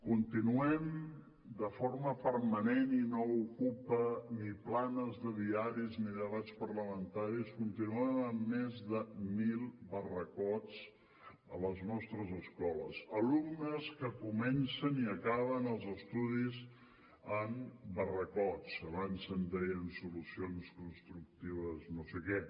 continuem de forma permanent i no ocupa ni planes de diaris ni debats parlamentaris amb més de mil barracots a les nostres escoles alumnes que comencen i acaben els estudis en barracots abans se’n deien solucions constructives no sé què